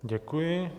Děkuji.